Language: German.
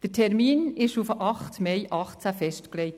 Der Termin wurde auf den 8. Mai 2018 festgelegt.